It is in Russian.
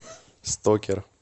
стокер